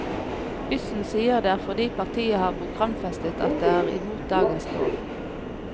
Yssen sier det er fordi partiet har programfestet at det er imot dagens lov.